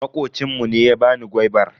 Makocin mu ne ya bani gwaibar.